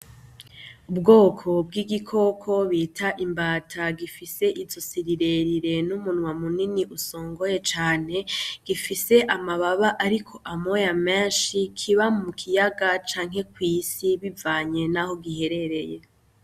Ubwoko bw'igikoko bita imbata, gifise izosi rirerire n'umunwa munini usongoye cane. Gifise amababa ariko amoya menshi, kiba mukiyaga canke kwisi bivanye naho giherereye.